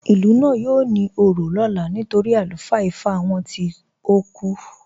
Ilú náà yóò ní ò̩rọ̀ lọlá nítorí alufaa Ìfá wọn tìí o kú.